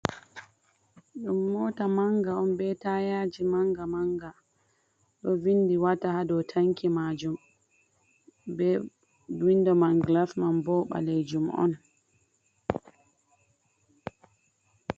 Ɗum mota manga on be tayaji manga manga ɗo vindi wata ha dou tanki majum ɓe winɗo man gilas man bo ɓalejum on.